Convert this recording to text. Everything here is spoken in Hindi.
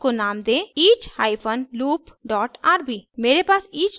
और इसको नाम दें each hyphen loop dot rb